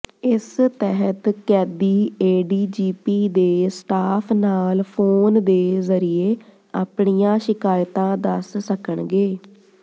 ਇਸ ਤਹਿਤ ਕੈਦੀ ਏਡੀਜੀਪੀ ਦੇ ਸਟਾਫ ਨਾਲ ਫੋਨ ਦੇ ਜ਼ਰੀਏ ਆਪਣੀਆਂ ਸ਼ਿਕਾਇਤਾਂ ਦਸ ਸਕਣਗੇ